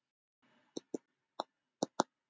Verður leitað áfram?